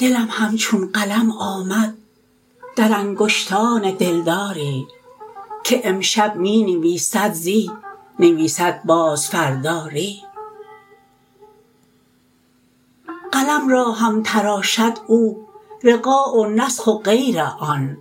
دلم همچون قلم آمد در انگشتان دلداری که امشب می نویسد زی نویسد باز فردا ری قلم را هم تراشد او رقاع و نسخ و غیر آن